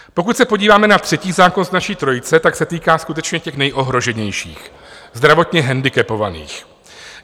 Pokud se podíváme na třetí zákon z naší trojice, tak se týká skutečně těch nejohroženějších, zdravotně handicapovaných.